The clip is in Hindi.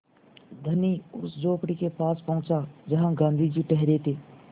धनी उस झोंपड़ी के पास पहुँचा जहाँ गाँधी जी ठहरे थे